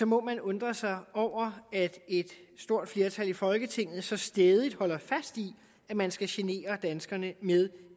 må man undre sig over at et stort flertal i folketinget så stædigt holder fast i at man skal genere danskerne med